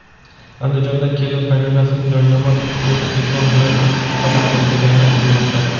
Andijonda kelin qaynonasini joynamoz ustida ketmon bilan chopib tashlagani aytilmoqda.